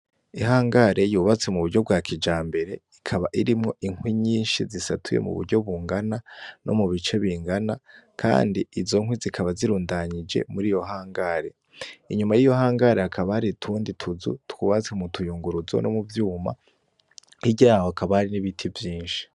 Ihangare yubatse muryo bwa kijambere, ikaba irimwo inkwi nyinshi zisatuye muburyo bungana, no mubice bingana kandi izonkwi zikaba zirundanije muriyo hangare, inyuma yiyo hangare hakaba hari utundi tuzu twubatse mutuyunguruzo no muvyuma, hirya yaho hakaba hari n'ibiti vyinshi.